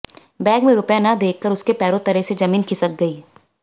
bag में रुपए न देखकर उसके पैरों तले से जमीन खिसक गई